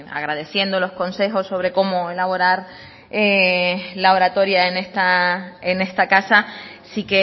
agradeciendo los consejos sobre cómo elaborar la oratoria en esta casa sí